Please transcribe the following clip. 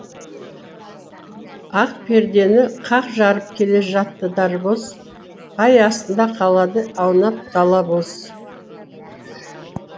ақ пердені қақ жарып келе жатты дарабоз ай астында қалады аунап дала боз